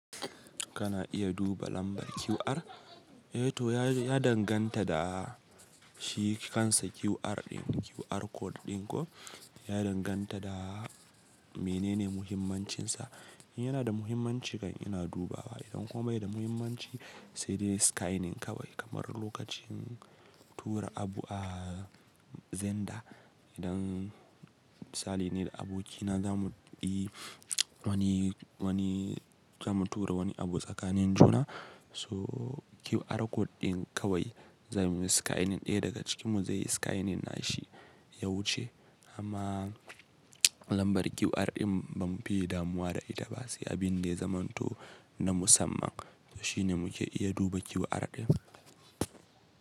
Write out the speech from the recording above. Kana iya duba lambar QR? Eh to ya danganta da shi kansa QR din QR code din ko ya danganta da menene muhimmancinsa. In yana da muhimmanci kam ina dubawa idan kuma bai da muhimmanci sai dai scanning kawai kamar lokacin tura abu a xender. Idan misali ni da abokina za mu yi wani, wani za mu tura wani abu tsakanin juna so QR code din kawai za muyi scanning ɗaya daga cikinmu zai yi scanning na shi ya wuce amma lambar QR din ba mu fiye damuwa da ita ba sai abin da ya zamanto na musamman. To shine muke iya duba QR din.